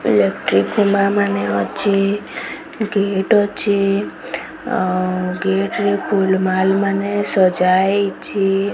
ଇଲେକ୍ଟ୍ରୀ ଖୁମାର ମାନେ ଅଛି ଗେଟ୍ ଅଛି ଆଉ ଗେଟ୍ ଫୁଲ୍ ମାଲ ମାନେ ସଜା ହେଇଚି ।